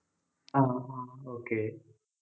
ah ah okay